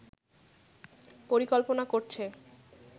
পরিকল্পনা করছে